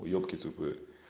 уебки тупые